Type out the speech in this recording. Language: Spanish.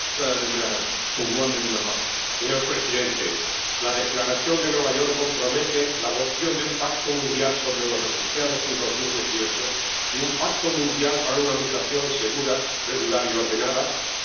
Señor presidente, la Declaración de Nueva York nos compromete a la adopción de un pacto mundial sobre los refugiados en 2018 y un pacto mundial para una migración segura, regular y ordenada, que se firmará en Marruecos en diciembre.